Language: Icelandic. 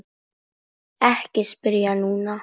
Ekki spyrja núna!